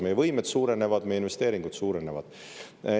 Meie võimed suurenevad, investeeringud suurenevad.